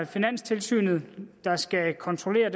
finanstilsynet der skal kontrollere